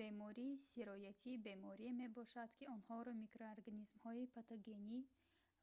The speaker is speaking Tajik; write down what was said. бемории сироятӣ беморие мебошад ки онҳоро микроорганизмҳои патогенӣ